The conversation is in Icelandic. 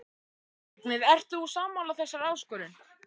Ég spyr þig, Vignir, ert þú sammála þessari áskorun?